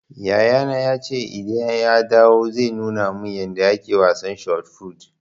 Yayana ya ce in ya dawo zai nuna man yanda ake wasan shot fut